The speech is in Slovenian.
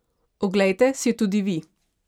Oglejte si jo tudi vi!